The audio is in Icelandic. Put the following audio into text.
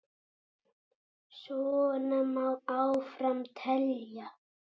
Svona má áfram telja.